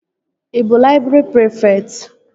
Ị bụ laịbrị prịfekt?